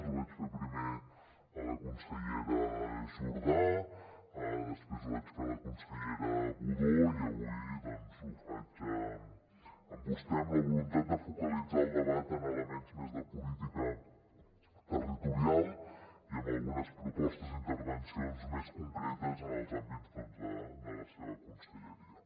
ho vaig fer primer a la consellera jordà després ho vaig fer a la consellera budó i avui doncs ho faig amb vostè amb la voluntat de focalitzar el debat en elements més de política territorial i amb algunes propostes i intervencions més concretes en els àmbits de la seva conselleria